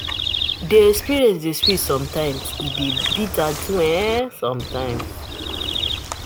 The experience dey sweet sometimes, e dey bitter too um sometimes